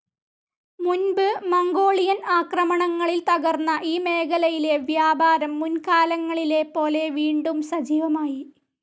മുൻപ് മംഗോളിയൻ ആക്രമണങ്ങളിൽ തകർന്ന ഈ മേഖലയിലെ വ്യാപാരം മുൻ‌കാലങ്ങളിലെപ്പോലെ വീണ്ടും സജീവമായി.